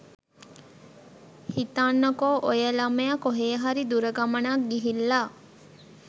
හිතන්නකෝ ඔය ළමයා කොහේ හරි දුර ගමනක් ගිහිල්ලා